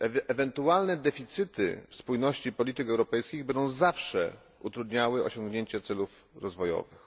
Ewentualne deficyty w spójności polityk europejskich będą zawsze utrudniały osiągnięcie celów rozwojowych.